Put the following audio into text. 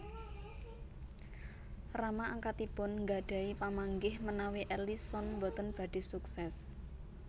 Rama angkatipun nggadhahi pamanggih menawi Ellison boten badhé suksés